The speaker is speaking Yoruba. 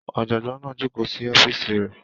Ọ̀jọ̀gbọ́n náà jókòó sí ọ́fíìsì rẹ̀